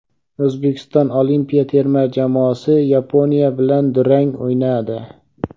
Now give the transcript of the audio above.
O‘zbekiston olimpiya terma jamoasi Yaponiya bilan durang o‘ynadi.